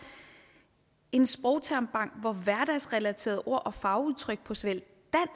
en sprogtermbank hvor hverdagsrelaterede ord og fagudtryk på såvel